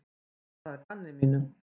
Bara að gamni mínu.